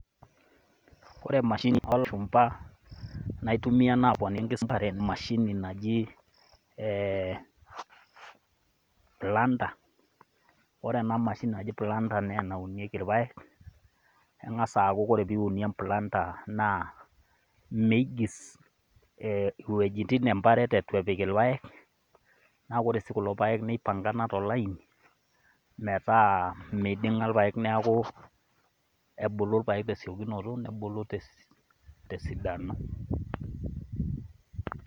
Ore emashini oo lashumba naitumia naaponiki enkisampuare, naa emashini naji e Planter, ore ena mashini naji Planter naa enaunieki ilpaek, eng'as aaku ore pee iunie emplanter naa meigis iwujitin te mparet ewuen eitu ipik ilpaek, naa ore sii kulo paek naa eipangana tolaini, metaa eiding'a ilpaek neaaku ebulu ilpaek te esiokinoto nebulu te esidano.